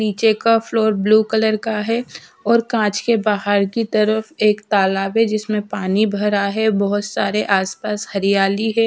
नीचे का floor blue colour का है और कांच के बाहर की तरफ एक तालाब है जिसमें पानी भरा है बहोत सारे आसपास हरियाली है।